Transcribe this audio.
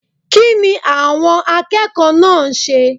Kínni àwon akékòó náà nse?